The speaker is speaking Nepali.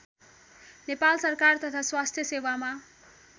नेपाल सरकार तथा स्वास्थ्य सेवामा